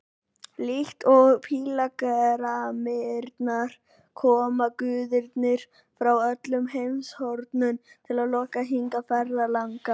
Líkt og pílagrímarnir koma guðirnir frá öllum heimshornum til að lokka hingað ferðalanga.